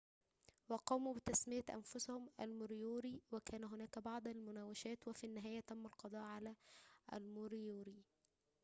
وقاموا بتسمية أنفسهم الموريوري وكان هناك بعض المناوشات وفي النهاية تم القضاء على الموريوري